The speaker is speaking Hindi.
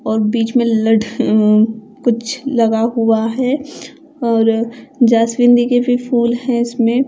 और बीच में लठ ऊं कुछ लगा हुआ है और जैस्मीन दि के भी फूल है इसमें--